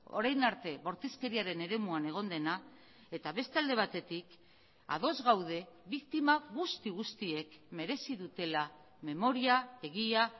orain arte bortizkeriaren eremuan egon dena eta beste alde batetik ados gaude biktima guzti guztiek merezi dutela memoria egia